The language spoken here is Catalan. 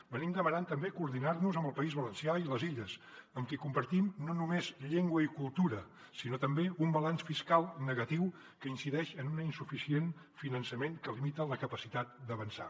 hem demanat també coordinar nos amb el país valencià i les illes amb qui compartim no només llengua i cultura sinó també un balanç fiscal negatiu que incideix en un insuficient finançament que limita la capacitat d’avançar